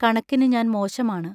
കണക്കിനു ഞാൻ മോശമാണ്.